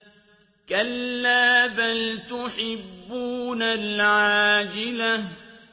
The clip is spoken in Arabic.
كَلَّا بَلْ تُحِبُّونَ الْعَاجِلَةَ